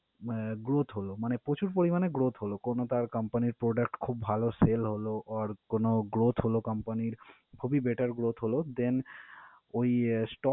আহ growth হলো মানে প্রচুর পরিমানে growth হলো। কোন তার company র product খুব ভালো sale হলো or কোন growth হলো company র, খুবই better growth হলো। Then ওই sto~